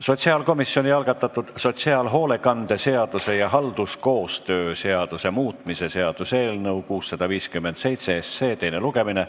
Sotsiaalkomisjoni algatatud sotsiaalhoolekande seaduse ja halduskoostöö seaduse muutmise seaduse eelnõu 657 teine lugemine.